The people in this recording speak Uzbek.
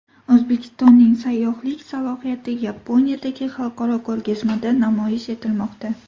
O‘zbekistonning sayyohlik salohiyati Yaponiyadagi xalqaro ko‘rgazmada namoyish etilmoqda.